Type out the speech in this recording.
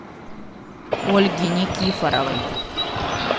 ольге никифоровой